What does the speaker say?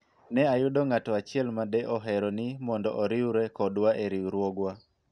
ne ayudo ng'ato achiel ma de ohero ni mondo oriwre kodwa e riwruogwa